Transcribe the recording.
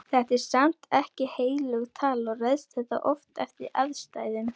Þetta er samt ekki heilög tala og ræðst þetta oft eftir aðstæðum.